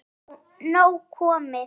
Er nú nóg komið?